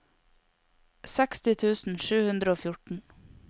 seksti tusen sju hundre og fjorten